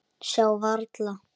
Sjá varla.